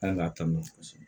Kan ka taa n'o ye kosɛbɛ